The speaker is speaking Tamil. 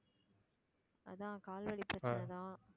அதான் கால் வலி பிரச்சனை தான்.